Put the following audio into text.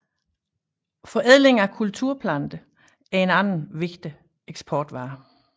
Forædling af kulturplanter er en anden vigtig eksportvare